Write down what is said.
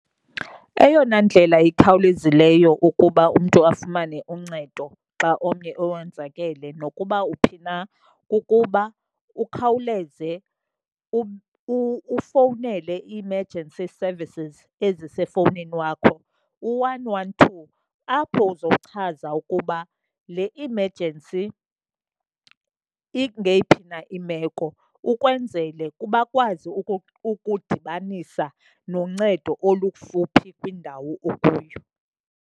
Eyona ndlela ikhawulezileyo ukuba umntu afumane uncedo xa omnye owenzakele nokuba uphi na kukuba ukhawuleze ufowunele i-emergency services ezisefowunini wakho, u-one one two, apho uzochaza ukuba le emergency ingeyiphi na imeko ukwenzele bakwazi ukudibanisa noncedo olukufuphi kwindawo okuyo.